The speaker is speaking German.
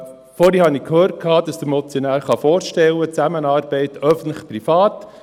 Vorhin habe ich gehört, dass sich der Motionär eine öffentlich-private Zusammenarbeit vorstellen kann.